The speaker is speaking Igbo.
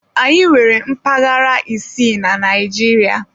Anyị nwere mpaghara isii na Naịjirịa.